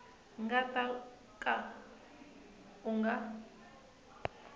nga ta ka u nga